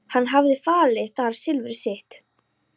Hann hafði falið þar silfur sitt.